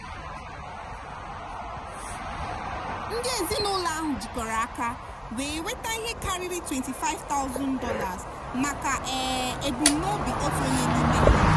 ndị ezinụlọ ahụ jikọrọ aka wee nweta ihe karịrị $25000 maka um ebumnobi otu onye n'ime ha.